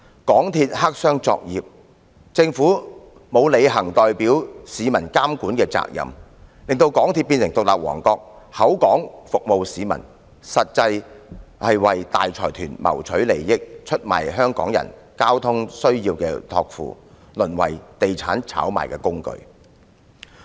港鐵公司黑箱作業，政府沒有履行代表市民監管的責任，使港鐵公司變成獨立王國，口說服務市民，實際上為大財團謀取利益，出賣香港人對交通需要的託付，淪為炒賣地產的工具。